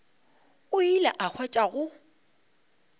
o ile a hwetša go